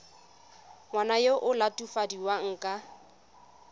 ngwana yo o latofadiwang ka